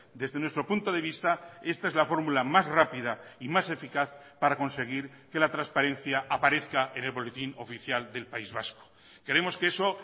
desde nuestro punto de vista esta es la formula más rápida y más eficaz para conseguir que la transparencia aparezca en el boletín oficial del país vasco creemos que eso